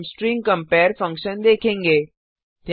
अब हम string compare function देखेंगे